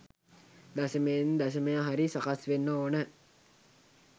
දශමයෙන් දශමය හරි සකස් වෙන්න ඕන.